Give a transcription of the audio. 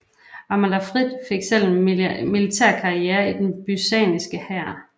Amalafrid selv fik en militær karriere i den byzantinske hær